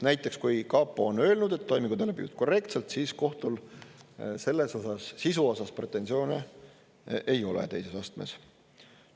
Näiteks, kui kapo on öelnud, et toimingud on läbi viidud korrektselt, siis kohtul sisu osas pretensioone ei ole teises astmes.